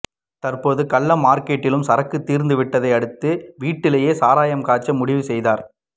தற்போது கள்ள மார்க்கெட்டிலும் சரக்கு தீர்ந்து விட்டதை அடுத்து வீட்டிலேயே சாராயம் காய்ச்ச முடிவு செய்தார்